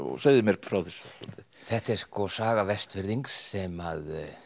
segðu mér frá þessu þetta er saga Vestfirðings sem